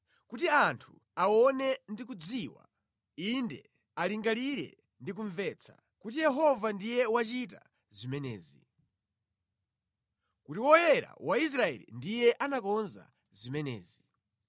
kuti anthu aone ndi kudziwa; inde, alingalire ndi kumvetsa, kuti Yehova ndiye wachita zimenezi; kuti Woyera wa Israeli ndiye anakonza zimenezi.